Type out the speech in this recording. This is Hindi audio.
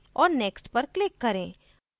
और next पर click करें